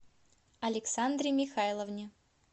александре михайловне